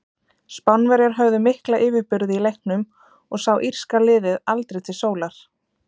Spánverjar höfðu mikla yfirburði í leiknum og sá írska liðið aldrei til sólar.